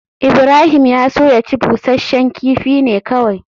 Ibrahim ya so ya ci busasshen kifi ne kawai